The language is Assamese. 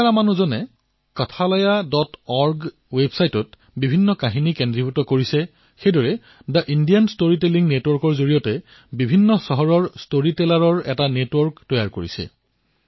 গীতা ৰামানুজনে kathalayaorg ত কাহিনীসমূহ একত্ৰিত কৰিছে আৰু the Indian story telling network জৰিয়তে বিভিন্ন চহৰত ষ্টৰী টেলাৰৰ নেটৱৰ্ক প্ৰস্তুত কৰিছে